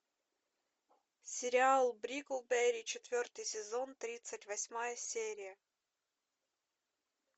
сериал бриклберри четвертый сезон тридцать восьмая серия